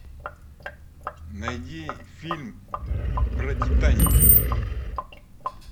найди фильм про титаник